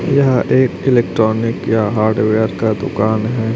यह एक इलेक्ट्रॉनिक या हार्डवेयर का दुकान है।